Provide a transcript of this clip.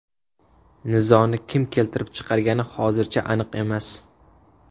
Nizoni kim keltirib chiqargani hozircha aniq emas.